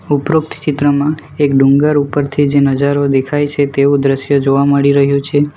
ઉપરુક્ત ચિત્રમાં એક ડુંગર ઉપરથી જે નજારો દેખાય છે તેવું દ્રશ્ય જોવા મળી રહ્યું છે.